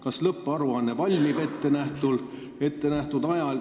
Kas lõpparuanne valmib ettenähtud ajal?